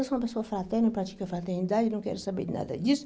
Eu sou uma pessoa fraterna, eu pratico a fraternidade, não quero saber nada disso.